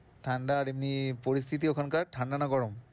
ঠান্ডার এমনি পরিস্থিতি ওখানকার? ঠান্ডা না গরম?